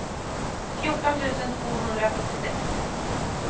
fjorton tusen tvåhundrasjuttiosex